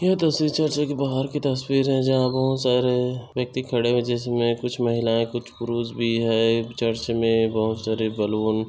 यह तस्वीर किसी चर्च के बाहर की तस्वीर है। जहाँ पर बहुत सारे व्यक्ति खड़े है। जिसमे कुछ महिलाएं कुछ पुरुष भी है। चर्च में बहुत सारे बलून --